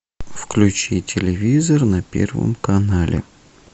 включи телевизор на первом канале